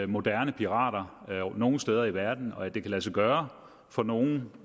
moderne pirater nogen steder i verden og at det kan lade sig gøre for nogen